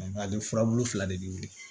Nka a ye furabulu fila de di u ye